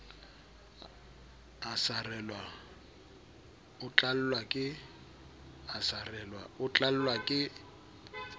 a sarelwa o tlallwa ke